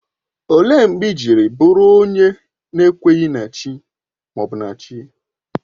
Ọ léé mgbe iji bụrụ onye n'ekweghi na Chi ma ọ bụ chi?